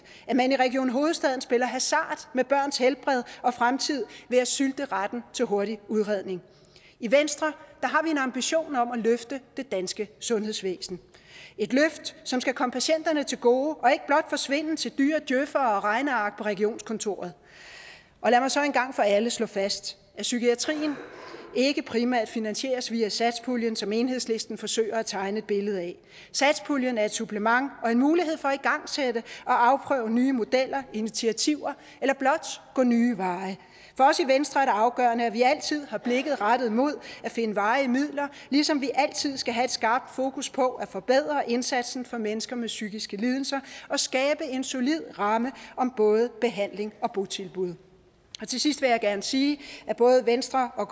at man i region hovedstaden spiller hasard med børns helbred og fremtid ved at sylte retten til hurtig udredning i venstre har vi ambition om at løfte det danske sundhedsvæsen et løft som skal komme patienterne til gode og ikke blot forsvinde til dyre djøfere og regneark på regionskontoret og lad mig så en gang for alle slå fast at psykiatrien ikke primært finansieres via satspuljen som enhedslisten forsøger at tegne et billede af satspuljen er et supplement og en mulighed for at igangsætte og afprøve nye modeller og initiativer eller blot gå nye veje for os i venstre er det afgørende at vi altid har blikket rettet mod at finde varige midler ligesom vi altid skal have et skarpt fokus på at forbedre indsatsen for mennesker med psykiske lidelser og skabe en solid ramme om både behandling og botilbud til sidst vil jeg gerne sige at både venstre og